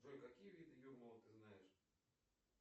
джой какие виды юрмалы ты знаешь